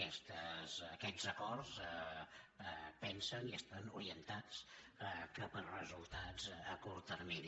aquest acords pensen i estan orientats cap a resultats a curt termini